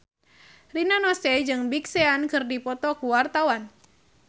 Rina Nose jeung Big Sean keur dipoto ku wartawan